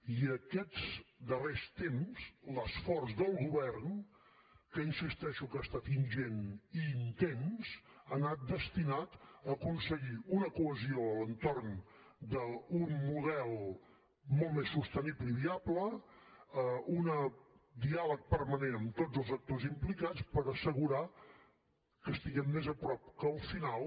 i aquests darrers temps l’esforç del govern que insisteixo que ha estat ingent i intens ha anat destinat a aconseguir una cohesió a l’entorn d’un model molt més sostenible i viable un diàleg permanent amb tots els actors implicats per assegurar que estiguem més a prop que al final